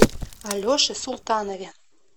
алеше султанове